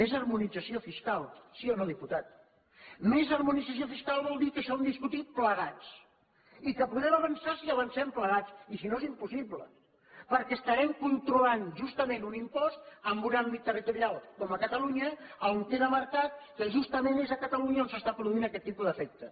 més harmonització fiscal si o no diputat més harmonització fiscal vol dir que això ho hem de discutir plegats i que podrem avançar si avancem plegats i si no és impossible perquè estarem controlant justament un impost en un àmbit territorial com catalunya a on queda marcat que justament és a catalunya on s’està produint aquest tipus d’efecte